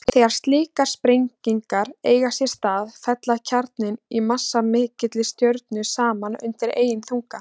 Þegar slíkar sprengingar eiga sér stað fellur kjarninn í massamikilli stjörnu saman undan eigin þunga.